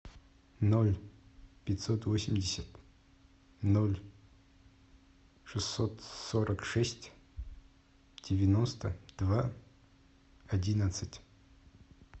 ноль пятьсот восемьдесят ноль шестьсот сорок шесть девяносто два одиннадцать